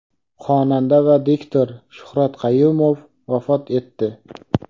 Xonanda va diktor Shuhrat Qayumov vafot etdi.